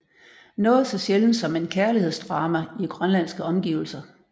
Noget så sjældent som en kærlighedsdrama i grønlandske omgivelser